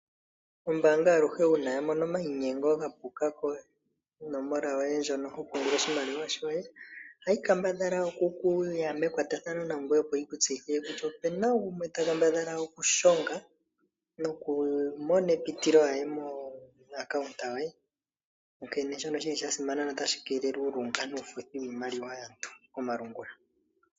Ombaanga aluhe uuna yamono omayinyengo gapuka konomola yoye hono hopungula oshimaliwa shoye, ohayi kambadhala okuya mekwatathano nangweye opo yiku tseyithile kutya opuna gumwe ta kambadhala okushonga nokumona epitilo aye membo lyoye lyombaanga. Shika oshasimana notashi keelele uulunga wiimaliwa komalungula.